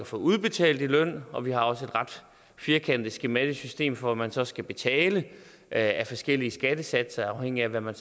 får udbetalt løn og vi har også et ret firkantet skematisk system for hvad man så skal betale af forskellige skattesatser afhængig af hvad man